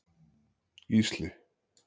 Gísli